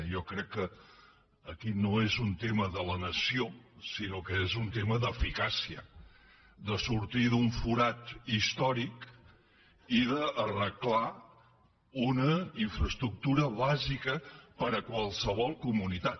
jo crec que aquí no és un tema de la nació sinó que és un tema d’eficàcia de sortir d’un forat històric i d’arreglar una infraestructura bàsica per a qualsevol comunitat